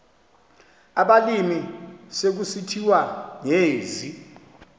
abalimi sekusithiwa ngezi